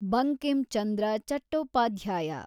Bankim Chandra Chattopadhyay